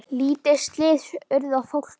Lítil slys urðu á fólki.